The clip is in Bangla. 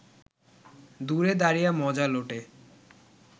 দূরে দাঁড়িয়ে মজা লোটে